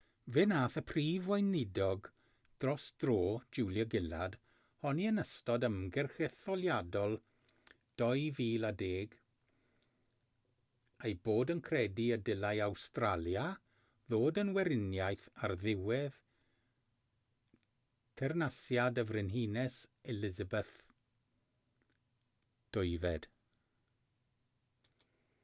fe wnaeth y prif weinidog dros dro julia gillard honni yn ystod ymgyrch etholiadol 2010 ei bod yn credu y dylai awstralia ddod yn weriniaeth ar ddiwedd teyrnasiad y frenhines elizabeth ii